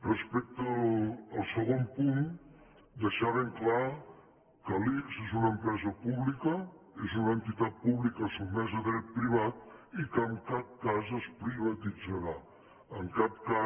respecte al segon punt deixar ben clar que l’ics és una empresa pública és una entitat pública sotmesa a dret privat i que en cap cas es privatitzarà en cap cas